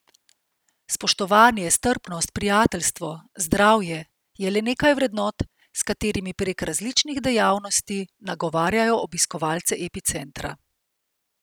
Spoštovanje, strpnost, prijateljstvo, zdravje, je le nekaj vrednot, s katerimi prek različnih dejavnosti nagovarjajo obiskovalce Epicentra.